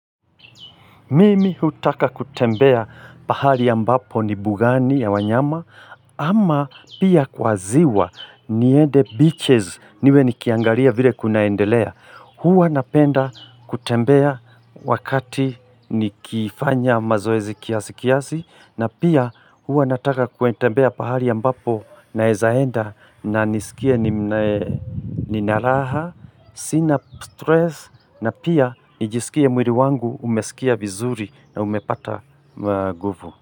Mimi hutaka kutembea pahali ambapo ni bugani ya wanyama ama pia kwa ziwa niende beaches niwe nikiangaria vile kunaendelea. Huwa napenda kutembea wakati nikifanya mazoezi kiasi kiasi na pia huwa nataka kutembea pahali ya ambapo naweza enda na nisikie ni na raha Sina stress na pia nijisikie mwiri wangu umesikia vizuri na umepata nguvu.